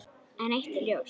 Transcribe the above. En eitt er ljóst.